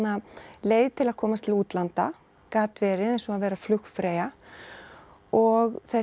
leið til að komast til útlanda gat verið eins og að vera flugfreyja og þetta